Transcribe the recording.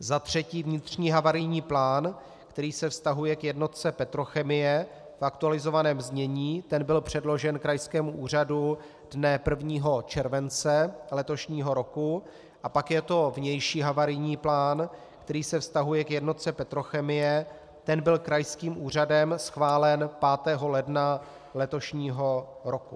Za třetí vnitřní havarijní plán, který se vztahuje k jednotce Petrochemie v aktualizovaném znění, ten byl předložen krajskému úřadu dne 1. července letošního roku, a pak je to vnější havarijní plán, který se vztahuje k jednotce Petrochemie, ten byl krajským úřadem schválen 5. ledna letošního roku.